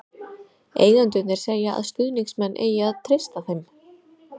Eigendurnir segja að stuðningsmenn eigi að treysta þeim.